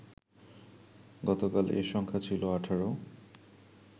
গতকাল এ সংখ্যা ছিল ১৮